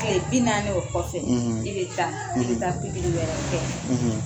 Tile binaani o kɔfɛ i bɛ taa i bɛ taa pigiri wɛrɛ kɛ